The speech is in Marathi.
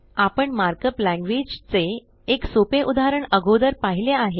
आपण मार्क अप लॅंग्वेज चे एक सोपे उदाहरण अगोदर पहिले आहे